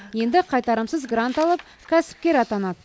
енді қайтарымсыз грант алып кәсіпкер атанады